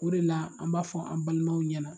O de la an b'a fɔ an balimaw ɲɛna